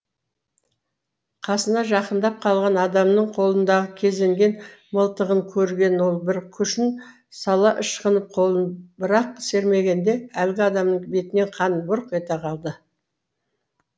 қасына жақындап қалған адамның қолындағы кезенген мылтығын көрген ол бір күшін сала ышқынып қолын бірақ сермегенде әлгі адамның бетінен қан бұрқ ете қалады